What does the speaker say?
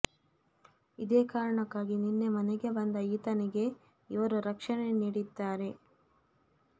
ಇದೇ ಕಾರಣಕ್ಕಾಗಿ ನಿನ್ನೆ ಮನೆಗೆ ಬಂದ ಈತನಿಗೆ ಇವರು ರಕ್ಷಣೆ ನೀಡಿದ್ದಾರೆ